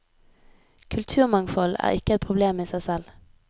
Kulturmangfold er ikke et problem i seg selv.